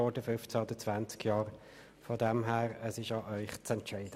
Insofern ist es an Ihnen zu entscheiden.